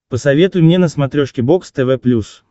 посоветуй мне на смотрешке бокс тв плюс